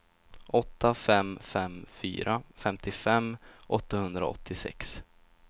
åtta fem fem fyra femtiofem åttahundraåttiosex